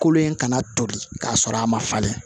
Kolo in kana tobi k'a sɔrɔ a ma falen